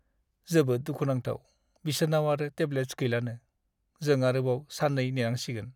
जोबोद दुखुनांथाव बिसोरनाव आरो टेब्लेट्स गैलानो! जों आरोबाव सान 2 नेनांसिगोन।